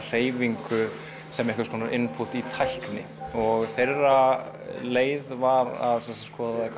hreyfingu sem einhvers konar í tækni þeirra leið var að skoða